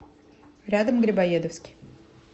рядом грибоедовский